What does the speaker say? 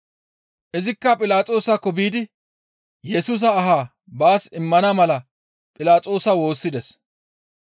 Izikka Philaxoosakko biidi Yesusa ahaa baas immana mala Philaxoosa woossides.